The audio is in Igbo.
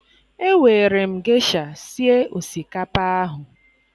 Ewere m gesha sie osikapa ahụ